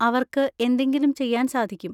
അവർക്ക് എന്തെങ്കിലും ചെയ്യാൻ സാധിക്കും.